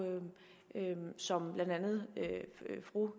så må vi